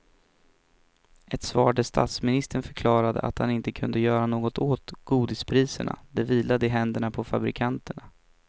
Ett svar där statsministern förklarade att han inte kunde göra något åt godispriserna, det vilade i händerna på fabrikanterna.